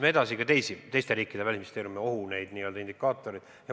Me analüüsisime ka teiste riikide välisministeeriumide n-ö ohuindikaatoreid.